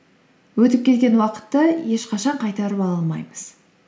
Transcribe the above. өтіп кеткен уақытты ешқашан қайтарып ала алмаймыз